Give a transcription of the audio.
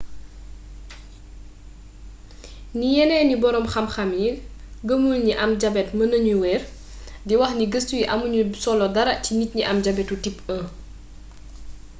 ni yénééni borom xamxam yi geemulni gni am jabét meenna gno wér di waxni geestu yi amugnu solo dara ci nit yi am jabétu type 1